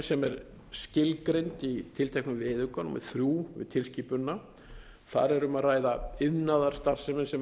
sem er skilgreind í tilteknum viðauka númer þrjú við tilskipunina þar er um að ræða iðnaðarstarfsemi sem